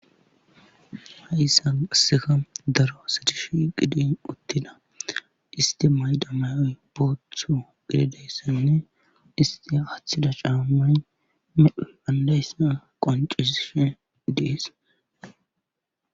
Ha7issan qasseka daro sadishi qidin uttida isti mayda mayoy booththo gededayssanne isti aththida caamay meu andayssan qoncisishe dees.